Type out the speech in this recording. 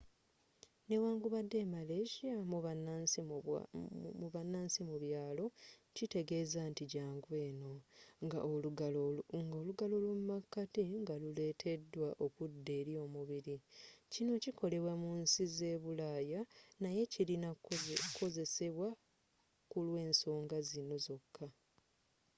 newankubadde e malaysia mubanansi mu byalo kitegeza nti jangu eno nga olugalo lwomumakati nga luweteddwa okudda eri omubiri kino kikolebwa mu nsi ze bulaya naye kilina kozesebwa kulwensoga zino zoka